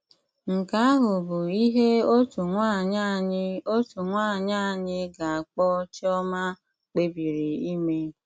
Nke ahụ bụ ihe otu nwaanyị anyị otu nwaanyị anyị ga-akpọ Chioma kpebiri ime.